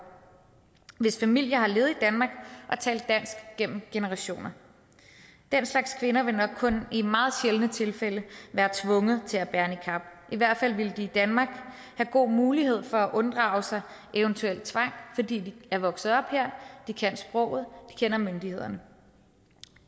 hvis familie har levet i danmark og talt dansk gennem generationer den slags kvinder vil nok kun i meget sjældne tilfælde være tvunget til at bære niqab i hvert fald ville de i danmark have god mulighed for at unddrage sig eventuel tvang fordi de er vokset op her kan sproget og kender myndighederne